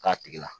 K'a tigi la